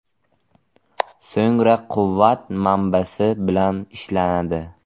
So‘ngra quvvat manbasi bilan ishlanadi.